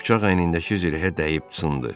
Bıçaq əynindəki zirehə dəyib sındı.